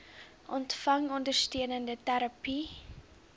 ontvang ondersteunende terapie